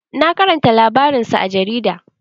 Na karanta labarinsa a jarida.